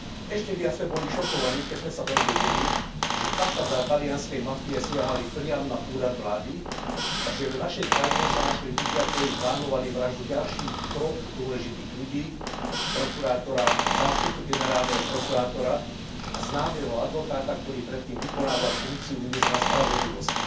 Ešte viac sme boli šokovaní, keď sme sa dozvedeli, že chápadlá talianskej mafie siahali priam na Úrad vlády a že v našej krajine sa našli ľudia, ktorí plánovali vraždu ďalších troch dôležitých ľudí, prokurátora, zástupcu generálneho prokurátora a známeho advokáta, ktorý predtým vykonával funkciu ministra spravodlivosti.